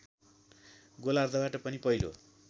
गोलार्द्धबाट पनि पहिलो